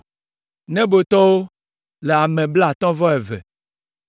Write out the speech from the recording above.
Nebotɔwo le ame blaatɔ̃ vɔ eve (52).